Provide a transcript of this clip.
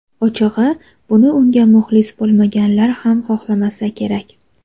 Ochig‘i, buni unga muxlis bo‘lmaganlar ham xohlamasa kerak.